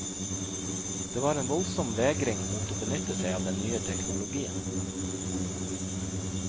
Det var en voldsom vegring mot å benytte seg av den nye teknologien.